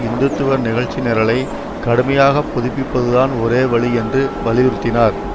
இந்து துவ நிகழ்ச்சி நிரலை கடுமையாக புதுப்பிப்பதுதான் ஒரேவழி என்று வலியுறுத்தினார்